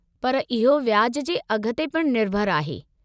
पर इहो व्याज जे अघ ते पिणु निर्भरु आहे।